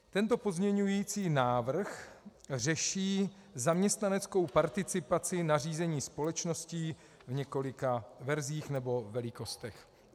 Tento pozměňovací návrh řeší zaměstnaneckou participaci na řízení společností v několika verzích nebo velikostech.